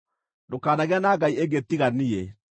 “Ndũkanagĩe na ngai ĩngĩ tiga niĩ.